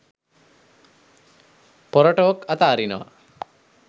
පොර ටෝක් අත අරිනවා.